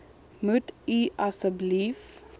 moet u asseblief